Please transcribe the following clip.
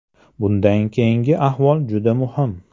Bundan keyingi ahvol juda muhim.